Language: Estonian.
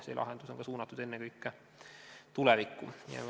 See lahendus on aga suunatud ennekõike tulevikku.